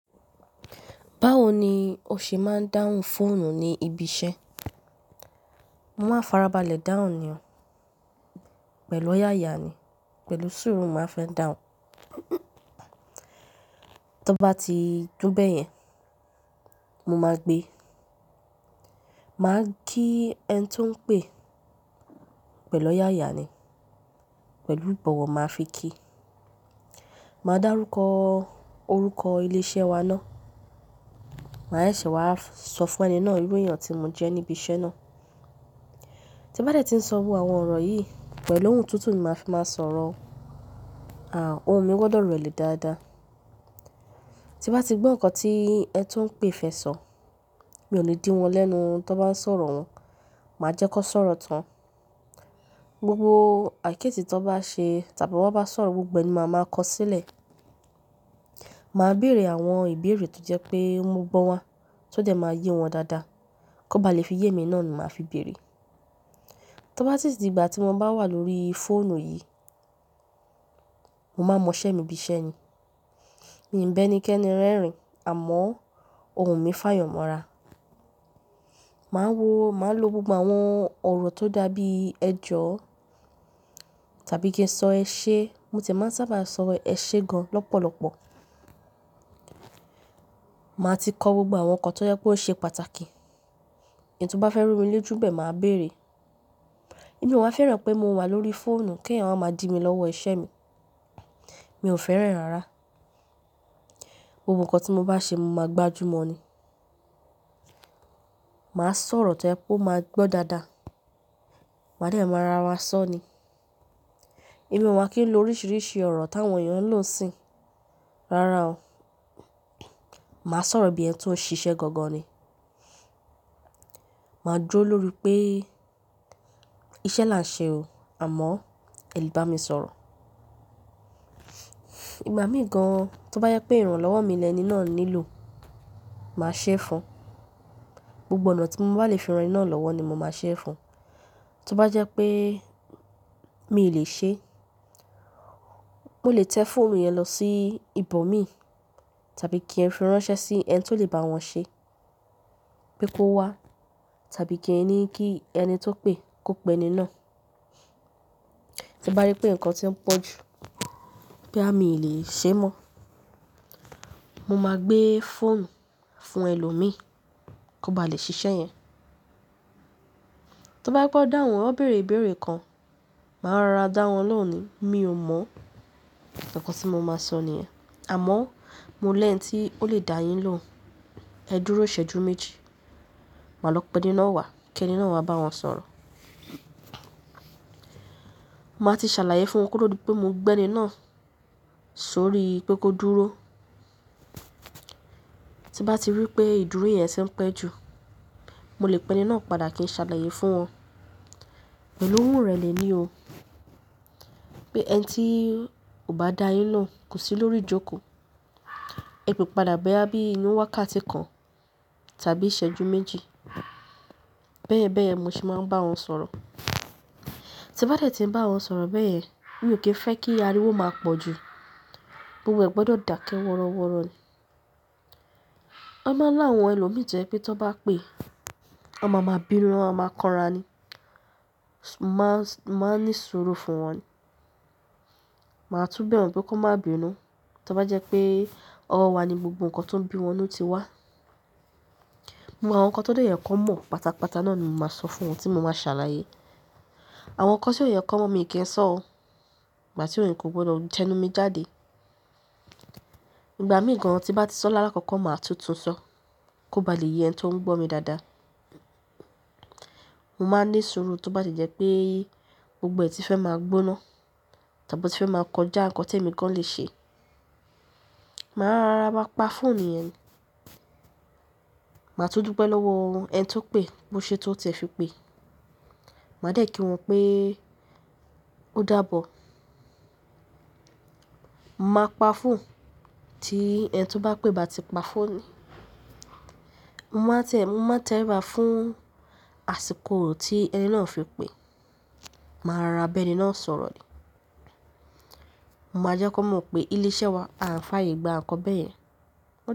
Báwo ni o ṣe máa ń dáhùn fóònù ní ibi iṣẹ́? Mo máa farabalẹ̀ dáhùn ní o, pẹ̀lú ọ̀yàyà ni, pẹ̀lú sùúrù mo máa fẹ́ dáhùn. Tí ó bá ti dun bẹ́ẹ̀ yẹn, mo máa gbé. Máa kí ẹni tó ń pè, pẹ̀lú ọ̀yàyà ni, pẹ̀lú ìbọ̀wọ̀ máa fi kí. Máa dá rúkọ orúkọ ilé iṣẹ́ wa náà. Màá ṣè wá sọ fún ẹni náà irú èèyàn tí mo jẹ́ níbi iṣẹ́ náà. Tí bá dẹ́ ti ń sọ àwọn ọ̀rọ̀ yìí, pẹ̀lú ohùn tutu ni màá fi máa sọ̀rọ̀. Àà, ohùn mi gbọdọ̀ rẹlẹ̀ dáadáa. Tí bá ti gbọ́ ǹkan tí ẹni tó ń pè fẹ́ sọ, mi ò ní dí wọn lẹ́nu to n bá ń sọ̀rọ̀ wọn. Màá jẹ́ kan sọ̀rọ̀ tán. Gbogbo àìkíyèsí tan bá ṣe tàbí wọ́n bá sọ̀rọ̀, gbogbo ẹni máa ma kọ sílẹ̀. Màá bèèrè àwọn ìbéèrè tó jẹ́ pé ń mo gbọ́n wa, tó de máa ye wọn dáadáa. Kó bá le fi ìyè mi náà ni màá fi bèèrè. To bá si ti di gbà tí mo bá wà lórí fóònù yìí, mo máa mọ iṣẹ́ mi bí iṣẹ́ ni. Mi ń bẹ́ ní kẹ́ni rẹ́rìn, àmọ́ ohùn mi fàyàn mọ́ra. Màá wo, màá lo gbogbo àwọn ọ̀rọ̀ tó dàbí ẹ̀jọ̀ tàbí kí n sọ ẹ ṣé, mo ti e máa ń sábà sọ ẹ ṣé gan lọ́pọ̀lọpọ̀. Màá ti kọ gbogbo àwọn ǹkan tó jẹ́ pé ó ṣe pàtàkì. Ẹn tó bá fẹ́ ru mi lojù n bẹ́ẹ̀ màá bèèrè. Èmi ò wá fẹ́ràn pé mo wà lórí fóònù kí ẹ̀eyan wa máa di mi lọ́wọ́ iṣẹ́ mi. Mi ò fẹ́ràn rárá. Gbogbo ǹkan tí mo bá ṣe mo máa gbájú mọ́ ni. Màá sọ̀rọ̀ itán e ó máa gbọ́ dáadáa. Màá dẹ̀ máa ra wan sọ́ ni. Èmi ò wá kí n lo oríṣìíríṣìí ọ̀rọ̀ táwọn èèyàn ń lò n sìn Rárá o. Màá sọ̀rọ̀ bí ẹni tó ń ṣiṣẹ́ gangan ni. Màá duro lórí pé iṣẹ́ là ń ṣe o, àmọ́ ẹ lè bá mi sọ̀rọ̀. Ìgbà míì gan, tó bá jẹ́ pé ìrànlọ́wọ́ mi lẹni náà nílò, màá ṣé fún. Gbogbo ọ̀nà tí mo bá lè fi ran ẹni náà lọ́wọ́ ni mo máa ṣe é fún. Tó bá jẹ́ pé mi lè ṣe, mo lè tẹ́ fóònù yẹn lọ sí ibòmí tàbí kí ẹ fi ránṣẹ́ sí ẹni tó lè bá wọn ṣe. Pé kó wá tàbí kí ní kí ẹni tó pè kó pẹ́ ni náà. Tí bá ri pé ǹkan ti ń pọ̀ ju, pé àmi lè ṣe mọ́, mo máa gbé fóònù fún ẹlòmíí kó bá lè ṣiṣẹ́ yẹn. Tó je pe o dáhùn wọ́n bèèrè ìbéèrè kan, màá rárá dá wọn lóhùn ni, "Mi ò mọ̀." Ìkàn tí mo máa sọ ni yen. Àmọ́ mo lè ń tí ó lè dá yín lóhùn. Ẹ dúró ìṣẹ́jú méjì, màá lọ pẹ́ eni náà wá kí ẹni náà wá bá wọn sọ̀rọ̀. Màá ti ṣàlàyé fún wọn kó to di pé mo gbẹ́ eni náà sórí pé kó dúró. Tí bá ti rí pé ìdúró yẹn ṣe ń pẹ́ ju, mo lè pẹ́ eni náà padà kí n ṣàlàyé fún wọn. Pẹ̀lú ohùn rẹlẹ̀ ni o, pé ẹni tí ò bá dá yín lóhùn kò sí lórí ìjókòó. Ẹ pè padà boya bí iinú wákàtí kan tàbí ìṣẹ́jú méjì. Bẹ́ẹ̀ bẹ́ẹ̀ mo ṣe máa ń bá wọn sọ̀rọ̀. Tí bá dẹ́ ti n bá wọn sọ̀rọ̀ beyen, mi ò kí ń fẹ́ kí ariwo máa pọ̀ ju. Gbogbo ẹ̀ gbọdọ̀ dà ke wọ́rọ́wọ́rọ́ ni. A máa ń lá àwọn ẹlòmíì to jẹ pé tí wọ́n bá pè, a máa máa binu wọn maa maa, kanra ni. Máa ní suru fún wọn ni. Màá tún bẹ wọn pé kó má binu to bá jẹ́ pé ọwọ́ wa ni gbogbo ǹkan tó ń bí wọnú ti wá. Mo àwọn ǹkan tó dẹ́ je kanmọ̀ pátápátá náà ni mo máa sọ fún wọn tí mo ma ṣàlàyé. Àwọn ǹkan tí ó je kanmọ́ mi kí n sọ o, ìgbà tí òun kò gbọdọ̀ jẹnu mi jáde. Ìgbà míì gan, tí bá ti sọ lálákọ̀kọ́ màá tutun sọ kó bá lè yẹn ẹni tó ń gbọ́ mi dáadáa. Mo máa ní suru tí ó bá ti e jẹ́ pé gbogbo ẹ̀ ti fẹ́ máa gbóná tàbí tí fẹ́ máa kọjá ǹkan tí èmi gan lè ṣe. Màá rárá máa pa fóònù yẹn. Màá tú dupe lọ́wọ́ won ẹni tó pè bó ṣe tó tie fi pe. Màá dẹ̀ kí wọn pé ó daàbọ̀. Màá pa fóònù tí ẹni tó bá pè bá ti pa fóònù. Mo máa tẹ̀, mo máa tẹ ri ba fún àsìkò tí ẹni náà fi pe Màá rárá bẹ́ẹ̀ ni náà sọ̀rọ̀ ni. Mo máa jẹ́ kó mọ̀ pé ilé iṣẹ́ wa à ń fàyè gba ǹkan bẹ́ẹ̀ yẹn.